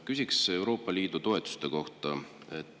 Küsiksin Euroopa Liidu toetuste kohta.